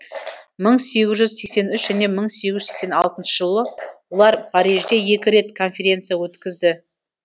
мың сегіз жүз сексен үш және мың сегіз жүз сексен алтыншы жылы олар парижде екі рет конференция өткізді